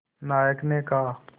नायक ने कहा